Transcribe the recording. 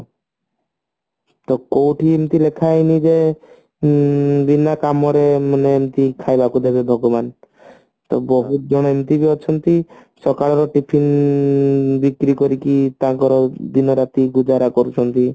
ତ କୋଉଠି ଏମତି ଲେଖା ହେଇନି ଯେ ଉଁ ବୀନା କାମରେ ମାନେ ଏମତି ଖାଇବାକୁ ଦେବ ଭଗବାନ ତ ବହୁତ ଜଣ ଏମତି ବି ଅଛନ୍ତି ସକାଳ ର tiffin ବିକ୍ରି କରିକି ତାଙ୍କର ଦିନରାତି ଗୁଜାରା କରୁଛନ୍ତି